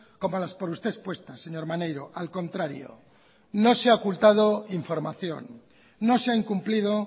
como las por usted expuestas señor maneiro al contrario no se ha ocultado información no se ha incumplido